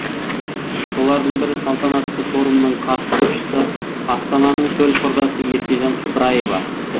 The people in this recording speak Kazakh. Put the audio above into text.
солардың бірі салтанатты форумның қатысушысы астананың төл құрдасы еркежан ыбыраева